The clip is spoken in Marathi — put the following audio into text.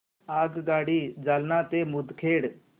आगगाडी जालना ते मुदखेड